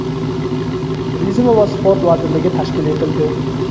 Turizm va sport vazirligi tashkil etildi.